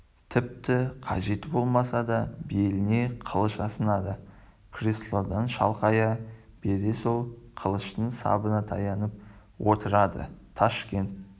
тіпті қажеті болмаса да беліне қылыш асынады креслодан шалқая бере сол қылыштың сабына таянып отырады ташкент